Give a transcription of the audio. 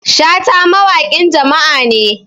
Shata wawaƙin jama'a ne